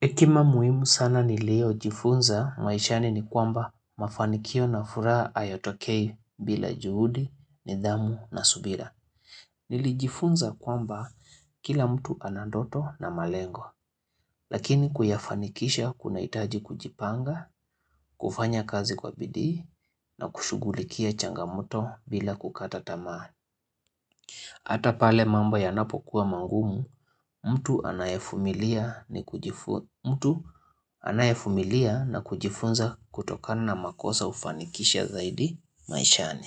Hekima muhimu sana niliyojifunza maishani ni kwamba mafanikio na furaha hayotokei bila juhudi, nidhamu na subira. Nilijifunza kwamba kila mtu ana ndoto na malengo. Lakini kuyafanikisha kunahitaji kujipanga, kufanya kazi kwa bidii na kushughulikia changamoto bila kukata tamaa. Hata pale mamba yanapokuwa magumu, mtu anayevumilia na kujifunza kutokana na makosa hufanikisha zaidi maishani.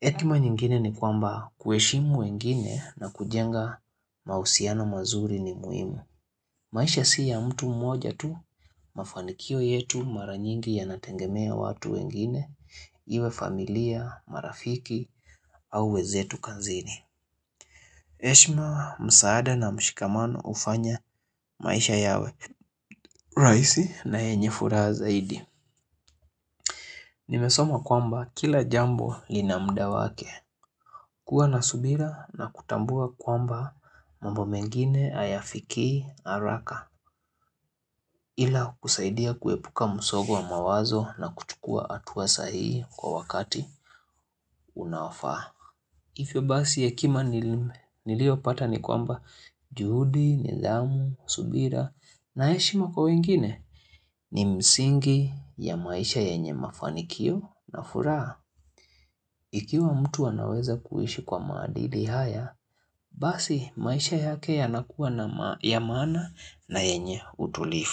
Hekima nyingine ni kwamba kuheshimu wengine na kujenga mahusiano mazuri ni muhimu. Maisha si ya mtu mmoja tu mafanikio yetu mara nyingi ya nategemea watu wengine, iwe familia, marafiki au wenzetu kazini. Heshima, msaada na mshikamano hufanya maisha yawe rahisi na yenye furaha zaidi Nimesoma kwamba kila jambo lina muda wake kuwa na subira na kutambua kwamba mambo mengine hayafikii haraka Ila kusaidia kuepuka msongo wa mawazo na kuchukua hatua sahihi kwa wakati unaofaa hivyo basi hekima niliyopata ni kwamba juhudi, nidhamu, subira na heshima kwa wengine ni misingi ya maisha yenye mafanikio na furaha. Ikiwa mtu anaweza kuishi kwa maadili haya, basi maisha yake yanakuwa ya maana na yenye utulivu.